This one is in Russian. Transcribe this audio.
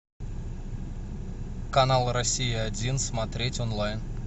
канал россия один смотреть онлайн